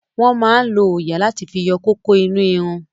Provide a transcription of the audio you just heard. Wọ́n máa lo òòyà láti fi yọ¸kókó inú irun.